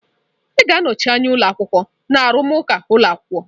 Ị ga-anọchi anya ụlọ akwụkwọ na arụmụka ụlọ akwụkwọ.